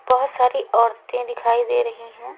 बहोत सारी औरते दिखाई दे रही है।